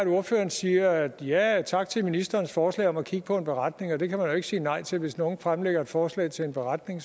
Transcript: ordføreren siger ja ja tak til ministerens forslag om at kigge på en beretning det kan man jo ikke sige nej til for hvis nogen fremlægger et forslag til en beretning